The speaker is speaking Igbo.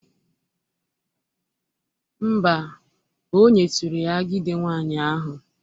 Mba, o nyeturu ya agide nwaanyị ahụ.